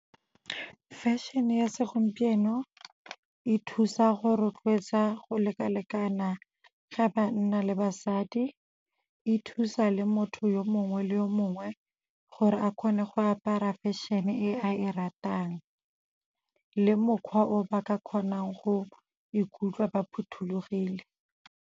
Fashion-e ya segompieno e thusa go rotloetsa go lekalekana ga banna le basadi, e thusa le motho yo mongwe le yo mongwe gore a kgone go apara fashion-e e a e ratang le mokgwa o ba ka kgonang go ikutlwa ba phothulogile.